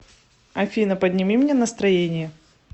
афина подними мне настроение